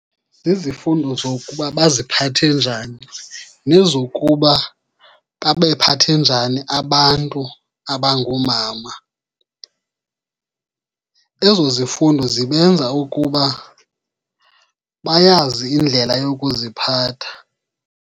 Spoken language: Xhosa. Zizifundo zokuba baziphathe njani nezokuba babephathe njani abantu abangoomama. Ezo zifundo zibenza ukuba bayazi indlela yokuziphatha.